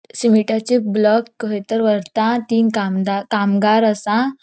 सीमीटाचे ब्लॉक खयतर वरता तीन कामदार कामगार असा.